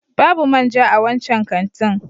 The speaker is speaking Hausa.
Babu man ja a wancan kantin.